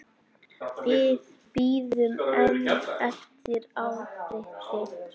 Við bíðum enn eftir afriti.